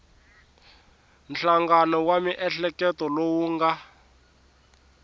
nhlangano wa miehleketo lowu nga